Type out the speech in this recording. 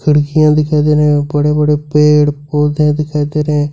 बिकियां दिखाई दे रहे और बड़े बड़े पेड़ पौधे दिखाई दे रहे हैं।